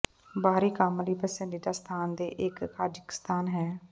ਬਾਹਰੀ ਕੰਮ ਲਈ ਪਸੰਦੀਦਾ ਸਥਾਨ ਦੇ ਇੱਕ ਕਜ਼ਾਕਿਸਤਾਨ ਹੈ